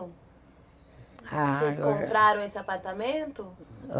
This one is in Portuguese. Ah... Vocês compraram esse apartamento?